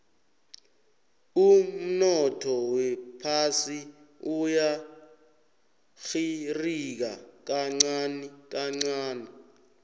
umnotho wephasi uyarhirika kancani kancani